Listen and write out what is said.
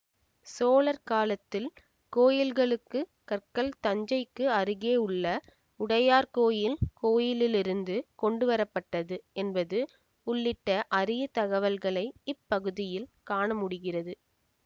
சோழர் காலத்தில் கோயில்களுக்குக் கற்கள் தஞ்சைக்கு அருகேயுள்ள உடையார்கோயில் கோயிலிலிருந்து கொண்டுவர பட்டது என்பது உள்ளிட்ட அரிய தகவல்களை இப்பகுதியில் காணமுடிகிறது